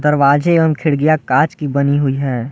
दरवाजे एवंम खिड़कियां कांच की बनी हुई है।